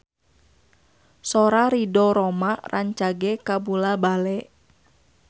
Sora Ridho Roma rancage kabula-bale